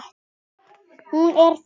Hún er það.